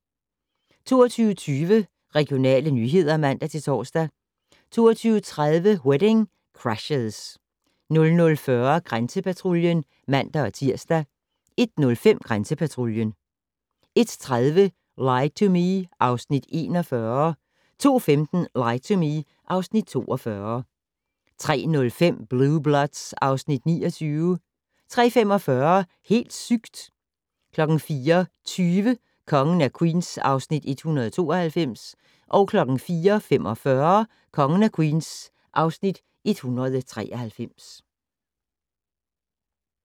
22:20: Regionale nyheder (man-tor) 22:30: Wedding Crashers 00:40: Grænsepatruljen (man-tir) 01:05: Grænsepatruljen 01:30: Lie to Me (Afs. 41) 02:15: Lie to Me (Afs. 42) 03:05: Blue Bloods (Afs. 29) 03:45: Helt sygt! 04:20: Kongen af Queens (Afs. 192) 04:45: Kongen af Queens (Afs. 193)